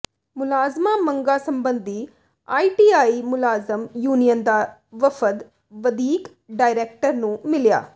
ਮੁਲਾਜ਼ਮ ਮੰਗਾਂ ਸਬੰਧੀ ਆਈਟੀਆਈ ਮੁਲਾਜ਼ਮ ਯੂਨੀਅਨ ਦਾ ਵਫ਼ਦ ਵਧੀਕ ਡਾਇਰੈਕਟਰ ਨੂੰ ਮਿਲਿਆ